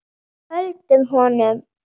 Höldum honum!